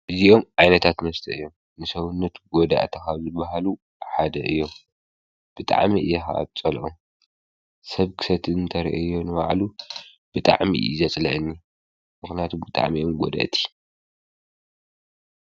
እዜኦም ዓይነታት መስተ እዮም ።ንሠዉነቱ ጐዳ እተኻሉ በሃሉ ሓደ እዮ. ብጥዕሚ የሃ ኣጸልኦ ሰብ ክሰት እንተርአዮ ንበዕሉ ብጥዕሚ እዘጽላየኒ ምኽናያቱ ብጥዕሚኦም ጐዳ እቲ።